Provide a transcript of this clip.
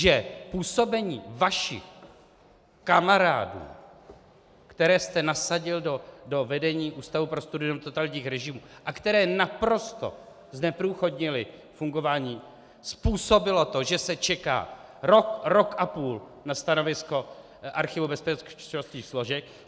Že působení vašich kamarádů, které jste nasadil do vedení Ústavu pro studium totalitních režimů a kteří naprosto zneprůchodnili fungování, způsobilo to, že se čeká rok, rok a půl na stanovisko Archivu bezpečnostních složek.